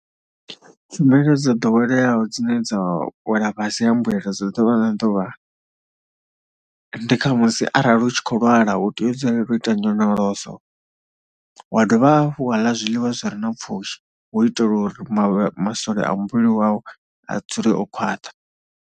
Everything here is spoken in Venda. Tshumelo dzo ḓoweleaho dzine dza wela fhasi ha mbuelo dza ḓuvha na ḓuvha ende kha musi arali u tshi khou lwala u tea u dzulela u ita nyonyoloso wa dovha hafhu wa ḽa zwiḽiwa zwi re na pfhushi, hu itela uri masole a muvhili wau a dzule o khwaṱha.